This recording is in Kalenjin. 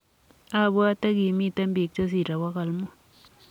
Abwati kimitei bik che sirei 500.''